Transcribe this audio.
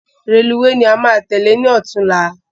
Rélùweè ni a máa tèlé ni ọ̀túnla